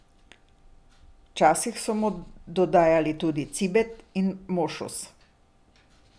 Včasih so mu dodajali tudi cibet in mošus.